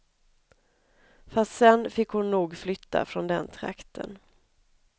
Fast sen fick hon nog flytta från den trakten.